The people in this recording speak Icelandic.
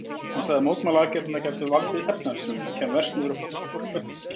Hann sagði að mótmælaaðgerðirnar gætu valdið efnahagshruni og kæmu verst niður á fátæku verkafólki.